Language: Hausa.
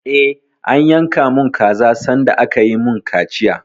Eh, an yanka mun kaza sanda aka yi mun kaciya